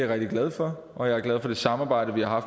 rigtig glad for og jeg er glad for det samarbejde vi har